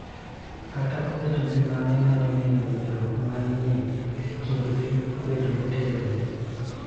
Kata obedo ni mano nyalo miyo winjruok ma ni e kindgi obed motegno,